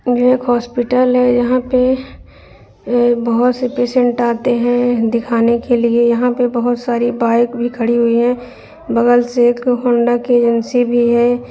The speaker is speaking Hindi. ये एक हॉस्पिटल है यहां पे बहुत से पेसेंट आते हैं दिखाने के लिए यहां पर बहुत सारी बाइक भी खड़ी हुई हैं बगल से एक होंडा की एजेंसी भी है।